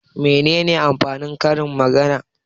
Mene amfanin karin-magana?